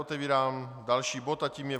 Otevírám další bod a tím je